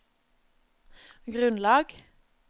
grunnlag